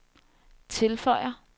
tilføjer